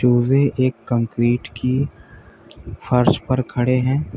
चूजे एक कंक्रीट की फर्श पर खड़े हैं।